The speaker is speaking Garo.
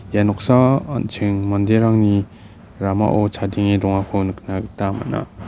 ia noksao an·ching manderangni ramao chadenge dongako nikna gita man·a.